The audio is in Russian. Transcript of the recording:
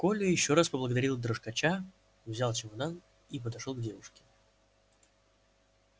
коля ещё раз поблагодарил дрожкача взял чемодан и подошёл к девушке